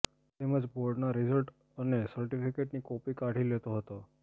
તેમજ બોર્ડના રીઝલ્ટ અને સર્ટીફીકેટની કોપી કાઢી લેતો હતો